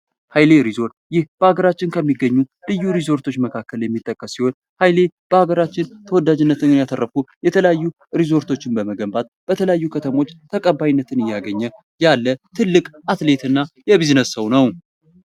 ኃይሌ ሪዞርት ይህ በሀገራችን ከሚገኙ ልዩ ሪዞርቶች መካከል የሚጠቀስ ሲሆን በሀገራችን ተወዳጅነትን ያተረፉ የተለያዩ ሪዞርቶችን በመገንባት በተለያዩ ከተሞች ተቀባይነትን እያገኘ ያለ ትልቅ አትሌት እና የቢዝነስ ሰው ነው።